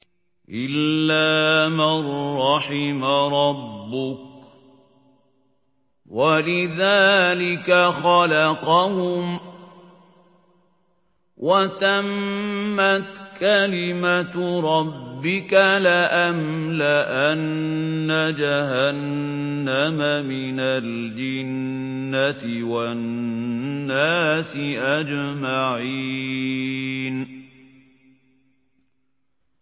إِلَّا مَن رَّحِمَ رَبُّكَ ۚ وَلِذَٰلِكَ خَلَقَهُمْ ۗ وَتَمَّتْ كَلِمَةُ رَبِّكَ لَأَمْلَأَنَّ جَهَنَّمَ مِنَ الْجِنَّةِ وَالنَّاسِ أَجْمَعِينَ